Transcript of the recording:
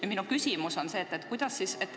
Aga minu küsimus on selline.